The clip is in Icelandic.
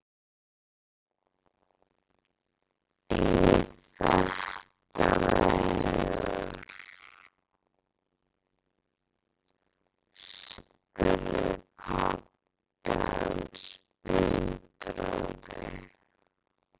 Í þetta veður? spurði pabbi hans undrandi.